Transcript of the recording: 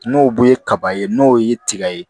N'o bu ye kaba ye n'o ye tiga ye